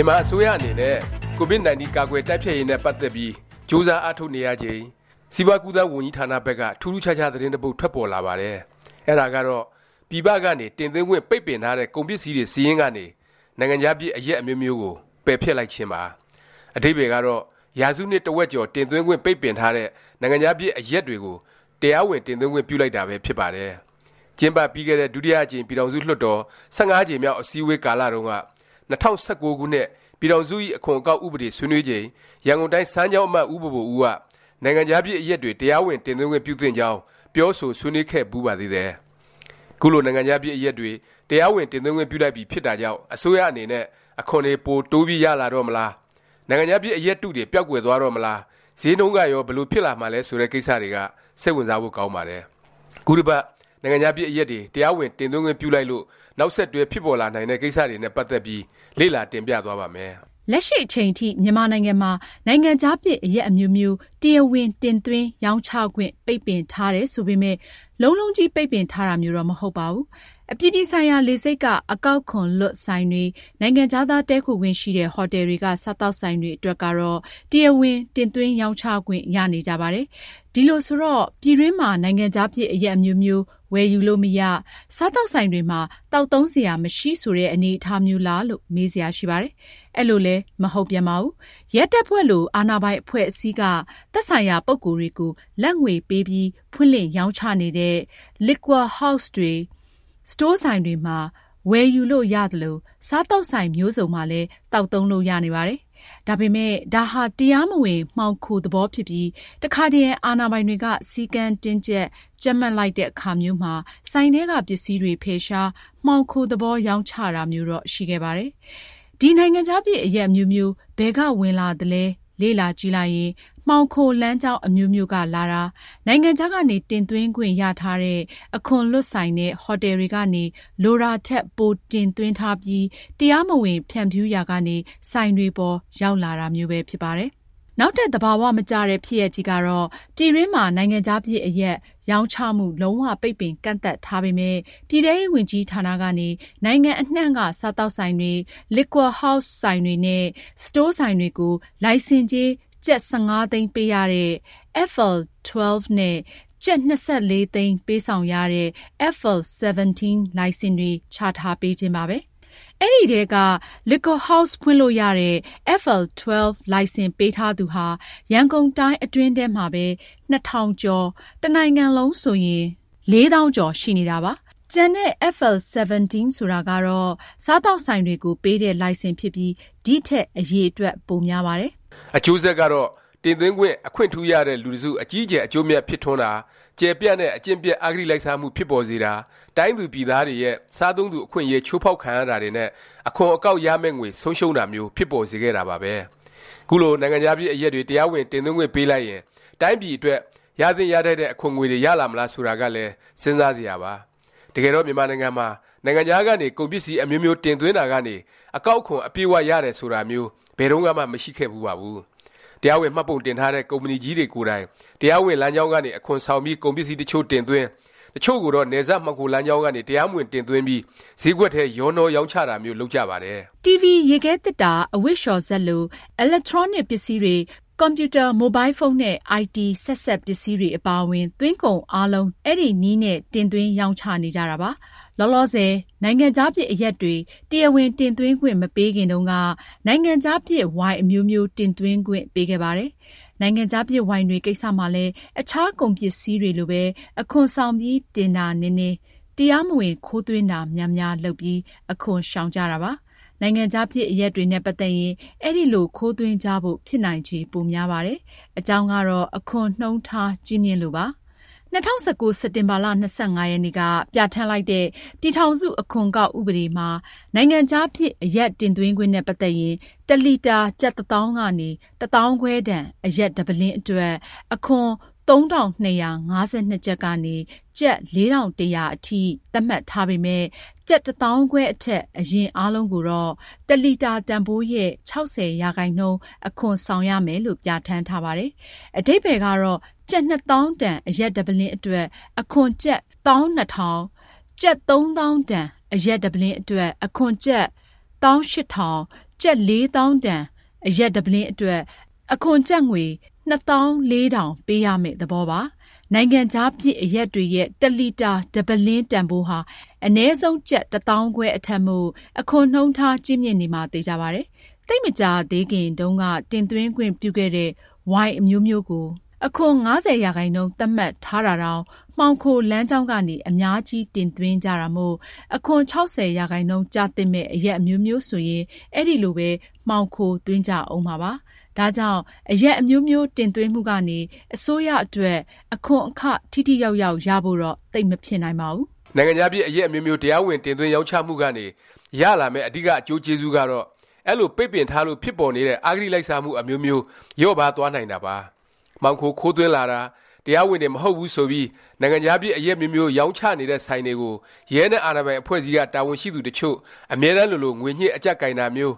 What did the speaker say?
ြန်မာအစိုးရ အနေနဲ့ COVID-19 ကာကွယ်တိုက်ဖျက်ရေးနဲ့ ပတ်သက်ပြီး ကြိုးစားအားထုတ် နေရချိန် စီးပွား-ကူးသန်း ဝန်ကြီးဌာနဘက်က ထူးထူးခြားခြား သတင်းတစ်ပုဒ် ထွက်ပေါ်လာပါတယ်။ အဲဒါကတော့ ပြည်ပကနေ တင်သွင်းခွင့် ပိတ်ပင်ထားတဲ့ ကုန်ပစ္စည်းတွေ စာရင်းကနေ နိုင်ငံခြားဖြစ် အရက် အမျိုးမျိုးကို ပယ်ဖျက်လိုက်ခြင်းပါ။ အဓိပ္ပါယ်ကတော့ ရာစုနှစ် တစ်ဝက်ကျော် တင်သွင်းခွင့် ပိတ်ပင်ထားတဲ့ နိုင်ငံခြားဖြစ် အရက်တွေကို တရားဝင် တင်သွင်းခွင့် ပြုလိုက်တာပဲ ဖြစ်ပါတယ်။ ကျင်းပပြီးခဲ့တဲ့ ဒုတိယအကြိမ် ပြည်ထောင်စု လွှတ်တော်၊ ၁၅ ကြိမ်မြောက် အစည်းအဝေး ကာလ တုန်းက “၂၀၁၉ ခုနှစ် ပြည်ထောင်စုဇ။် အခွန်အကောက် ဥပဒေ” ဆွေးနွေးချိန် ရန်ကုန်တိုင်း စမ်းချောင်းအမတ် ဦးဘိုဘိုဦးက နိုင်ငံခြားဖြစ် အရက်တွေ တရားဝင် တင်သွင်းခွင့်ပြုသင့်ကြောင်း ပြောဆိုဆွေးနွေးခဲ့ဖူးပါသေးတယ်။ ခုလို နိုင်ငံခြားဖြစ် အရက်တွေ တရားဝင် တင်သွင်းခွင့်ပြုလိုက်ပြီ ဖြစ်တာကြောင့် အစိုးရ အနေနဲ့ အခွန်တွေ ပို တိုးပြီး ရတော့မလား၊ နိုင်ငံခြားဖြစ် အရက်တုတွေ ပျောက်ကွယ်သွားတော့မလား၊ ဈေးနှုန်းကရော ဘယ်လို ဖြစ်လာမှာလဲ ဆိုတဲ့ ကိစ္စတွေက စိတ်ဝင်စားဖို့ ကောင်းပါတယ်။ ခုတစ်ပတ် နိုင်ငံခြားဖြစ် အရက်တွေ တရားဝင် တင်သွင်းခွင့်ပြုလိုက်လို့ နောက်ဆက်တွဲ ဖြစ်ပေါ်လာနိုင်တဲ့ ကိစ္စတွေနဲ့ ပတ်သက်ပြီး လေ့လာ တင်ပြသွားပါ့မယ်။ လက်ရှိ အချိန်ထိ မြန်မာနိုင်ငံမှာ နိုင်ငံခြားဖြစ် အရက်အမျိုးမျိုး တရားဝင် တင်သွင်း၊ ရောင်းချခွင့် ပိတ်ပင်ထားတယ် ဆိုပေမယ့် လုံးလုံးကြီး ပိတ်ပင်ထားတာမျိုးတော့ မဟုတ်ပါဘူး။ အပြည်ပြည်ဆိုင်ရာ လေဆိပ်က အကောက်ခွန်လွတ် ဆိုင်တွေ၊ နိုင်ငံခြားသား တည်းခိုခွင့်ရှိတဲ့ ဟိုတယ်တွေက စားသောက်ဆိုင်တွေ အတွက်ကတော့ တရားဝင် တင်သွင်း ရောင်းချခွင့် ရနေကြပါတယ်။ ဒီလိုဆိုတော့ ပြည်တွင်းမှာ နိုင်ငံခြားဖြစ် အရက်အမျိုးမျိုး ဝယ်ယူလို့မရ၊ စားသောက်ဆိုင်တွေမှာ သောက်သုံးစရာ မရှိ ဆိုတဲ့ အနေအထားမျိုးလား လို့ မေးစရာရှိပါတယ်။ အဲလိုလည်း မဟုတ်ပြန်ပါဘူး။ ရဲတပ်ဖွဲ့လို အာဏာပိုင်အဖွဲ့အစည်းက သက်ဆိုင်ရာ ပုဂ္ဂိုလ်တွေကို လာဘ်ငွေပေးပြီး ဖွင့်လှစ်ရောင်းချနေတဲ့ Liquor House တွေ၊ စတိုးဆိုင်တွေမှာ ဝယ်ယူလို့ရသလို စားသောက်ဆိုင် မျိုးစုံမှာလည်း သောက်သုံးလို့ ရနေပါတယ်။ ဒါပေမယ့် ဒါဟာ တရားမဝင် မှောင်ခို သဘောဖြစ်ပြီး တခါတရံ အာဏာပိုင်တွေက စည်းကမ်းတင်းကြပ်၊ ကြပ်မတ်လိုက်တဲ့ အခါမျိုးမှာ ဆိုင်ထဲက ပစ္စည်းတွေ ဖယ်ရှား၊ မှောင်ခိုသဘော ရောင်းချရတာမျိုးတော့ ရှိခဲ့ပါတယ်။ ဒီ နိုင်ငံခြားဖြစ် အရက်အမျိုးမျိုး ဘယ်က ဝင်လာသလဲ လေ့လာကြည့်လိုက်ရင် မှောင်ခိုလမ်းကြောင်း အမျိုးမျိုးက လာတာ၊ နိုင်ငံခြားကနေ တင်သွင်းခွင့် ရထားတဲ့ အခွန်လွတ်ဆိုင်နဲ့ ဟိုတယ်တွေကနေ လိုတာထက် ပိုတင်သွင်းထားပြီး တရားမဝင် ဖြန့်ဖြူးရာကနေ ဆိုင်တွေပေါ် ရောက်လာတာမျိုးပဲ ဖြစ်ပါတယ်။ နောက်ထပ် သဘာ၀ မကျတဲ့ ဖြစ်ရပ်ကြီးကတော့ ပြည်တွင်းမှာ နိုင်ငံခြားဖြစ် အရက် ရောင်းချမှု လုံး၀ ပိတ်ပင် ကန့်သတ်ထားပေမယ့် ပြည်ထဲရေးဝန်ကြီးဌာနကနေ နိုင်ငံအနှံ့က စားသောက်ဆိုင်တွေ၊ Liquor House ဆိုင်တွေနဲ့ စတိုးဆိုင်တွေကို လိုင်စင်ကြေး ကျပ်၁၅ သိန်းပေးရတဲ့ FL 12 နဲ့ ကျပ် ၂၄ သိန်းပေးဆောင်ရတဲ့ FL 17 လိုင်စင်တွေ ချထားပေးခြင်းပါပဲ။ အဲဒီအထဲက Liquor House ဖွင့်လို့ရတဲ့ FL 12 လိုင်စင်ပေးထားသူဟာ ရန်ကုန်တိုင်း အတွင်းထဲမှာပဲ ၂၀၀၀ ကျော်၊ တစ်နိုင်ငံလုံးဆိုရင် ၄၀၀၀၀ ကျော် ရှိနေတာပါ။ ကျန် FL 17 ဆိုတာကတော့ စားသောက်ဆိုင်တွေကို ပေးတဲ့ လိုင်စင်ဖြစ်ပြီး ဒီထက် အရည်အတွက် ပိုများပါတယ်။ အကျိုးဆက်ကတော့ တင်သွင်းခွင့် အခွင့်ထူးရတဲ့ လူတစ်စု အကြီးအကျယ် အကျိုးအမြတ် ဖြစ်ထွန်းတာ၊ ကျယ်ပြန့်တဲ့ အကျင့်ပျက် အဂတိလိုက်စားမှု ဖြစ်ပေါ်စေတာ၊ တိုင်းသူပြည်သားတွေရဲ့ စားသုံးသူ အခွင့်အရေး ချိုးဖေါက်ခံရတာတွေနဲ့ အခွန်အကောက် ရမယ့်ငွေ ဆုံးရှုံးတာမျိုး ဖြစ်ပေါ်စေခဲ့တာပါပဲ။ ခုလို နိုင်ငံခြားဖြစ် အရက်တွေ တရားဝင် တင်သွင်းခွင့် ပေးလိုက်ရင် တိုင်းပြည်အတွက် ရသင့်ရထိုက်တဲ့ အခွန်ငွေတွေ ရလာမလား ဆိုတာကလည်း စဉ်းစားစရာပါ။ တကယ်တော့ မြန်မာနိုင်ငံမှာ နိုင်ငံခြားကနေ ကုန်ပစ္စည်း အမျိုးမျိုး တင်သွင်းတာကနေ အကောက်ခွန် အပြည့်အ၀ ရတယ်ဆိုတာမျိုး ဘယ်တုန်းကမှ မရှိခဲ့ဖူးပါဘူး။ တရားဝင် မှတ်ပုံတင်ထားတဲ့ ကုမ္ပဏီကြီးတွေ ကိုယ်တိုင် တရားဝင် လမ်းကြောင်းကနေ အခွန်ဆောင်ပြီး ကုန်ပစ္စည်းတစ်ချို့ တင်သွင်း၊ တစ်ချို့ကိုတော့ နယ်စပ် မှောင်ခိုလမ်းကြောင်းကနေ တရားမဝင် တင်သွင်းပြီး ဈေးကွက်ထဲ ရောနှော ရောင်းချတာမျိုး လုပ်ကြပါတယ်။ တီဗွီ၊ ရေခဲသေတ္တာ၊ အဝတ်လျော်စက်လို အီလက်ထရောနစ် ပစ္စည်းတွေ၊ ကွန်ပျူတာ၊ မိုဘိုင်းဖုန်းနဲ့ အိုင်တီ ဆက်စပ်ပစ္စည်းတွေ အပါအဝင် သွင်းကုန်အားလုံး အဲဒီနည်းနဲ့ တင်သွင်း၊ ရောင်းချနေကြတာပါ။ လောလောဆယ် နိုင်ငံခြားဖြစ် အရက်တွေ တရားဝင် တင်သွင်းခွင့် မပေးခင်တုန်းက နိုင်ငံခြားဖြစ် ဝိုင်အမျိုးမျိုး တင်သွင်းခွင့် ပေးခဲ့ပါတယ်။ နိုင်ငံခြားဖြစ် ဝိုင်တွေ ကိစ္စမှာလည်း အခြားကုန်ပစ္စည်းတွေလိုပဲ အခွန်ဆောင်ပြီး တင်တာနည်းနည်း၊ တရားမဝင် ခိုးသွင်းတာများများ လုပ်ပြီး အခွန်ရှောင်ကြတာပါ။ နိုင်ငံခြားဖြစ် အရက်တွေနဲ့ ပတ်သက်ရင် အဲလို ခိုးသွင်းကြဖို့ ဖြစ်နိုင်ခြေ ပိုများပါတယ်။ အကြောင်းကတော့ အခွန်နှုန်းထား ကြီးမြင့်လို့ပါ။ ၂၀၁၉ စက်တင်ဘာ ၂၅ ရက်နေ့က ပြဌာန်းလိုက်တဲ့ ပြည်ထောင်စုဇ။် အခွန်အကောက် ဥပဒေမှာ နိုင်ငံခြားဖြစ် အရက် တင်သွင်းခွင့်နဲ့ ပတ်သက်ရင် တစ်လီတာ ကျပ် တစ်သောင်းကနေ တစ်သောင်းခွဲတန် အရက် တစ်ပုလင်းအတွက် အခွန် ၃၂၅၂ ကျပ်ကနေ ကျပ် ၄၁၀၀ အထိ သတ်မှတ်ထားပေမယ့် ကျပ် တစ်သောင်းခွဲအထက် အရက်အားလုံးကိုတော့ တစ်လီတာ တန်ဘိုးရဲ့ ၆၀ ရာခိုင်နှုန်း အခွန်ဆောင်ရမယ်လို့ ပြဌာန်းထားပါတယ်။ အဓိပ္ပါယ်ကတော့ ကျပ် ၂သောင်းတန် အရက်တစ်ပုလင်း အတွက် အခွန် ကျပ် ၁၂၀၀၀၊ ကျပ် ၃ သောင်းတန် အရက်တစ်ပုလင်း အတွက် အခွန် ကျပ် ၁၈၀၀၀၊ ကျပ် ၄ သောင်းတန် အရက်တစ်ပုလင်း အတွက် အခွန် ကျပ် ၂၄၀၀၀ ပေးရမယ့် သဘောပါ။ နိုင်ငံခြားဖြစ် အရက်တွေရဲ့ တစ်လီတာ တစ်ပုလင်း တန်ဘိုးဟာ အနည်းဆုံး ကျပ် တစ်သောင်းခွဲ အထက်မို့ အခွန်နှုန်းထား ကြီးမြင့်နေမှာ သေခြာပါတယ်။ သိပ်မကြာသေးခင်တုန်းက တင်သွင်းခွင့်ပြုခဲ့တဲ့ ဝိုင်အမျိုးမျိုးကို အခွန် ၅၀% သတ်မှတ်ထားတာတောင် မှောင်ခိုလမ်းကြောင်းကနေ အများကြီး တင်သွင်းကြတာမို့ အခွန် ၆၀ ရာခိုင်နှုန်း ကျသင့်မယ့် အရက်အမျိုးမျိုး ဆိုရင် အဲဒီလိုပဲ မှောင်ခိုသွင်းကြဦးမှာပါ။ ဒါကြောင့် အရက်အမျိုးမျိုး တင်သွင်းမှုကနေ အစိုးရအတွက် အခွန်အခ ထိထိရောက်ရောက် ရဖို့တော့ သိပ်မဖြစ်နိုင်ပါဘူး။ နိုင်ငံခြားဖြစ် အရက် အမျိုးမျိုး တရားဝင် တင်သွင်းရောင်းချမှုကနေ ရလာမယ့် အဓိက အကျိုးကျေးဇူးကတော့ အဲလို ပိတ်ပင်ထားလို့ ဖြစ်ပေါ်နေတဲ့ အဂတိလိုက်စားမှု အမျိုးမျိုး လျော့ပါးသွားနိုင်တာပါ။ မှောင်ခို ခိုးသွင်းလာတာ၊ တရားဝင်တွေ မဟုတ်ဘူး ဆိုပြီး နိုင်ငံခြားဖြစ် အရက်အမျိုးမျိုး ရောင်းချနေတဲ့ ဆိုင်တွေကို ရဲနဲ့ အာဏာပိုင် အဖွဲ့အစည်းက တာဝန်ရှိသူ တစ်ချို့ အမြဲတန်းလိုလို ငွေညှစ် အကြပ်ကိုင်တာမျိုး